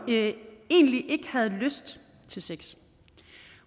egentlig ikke havde lyst til sex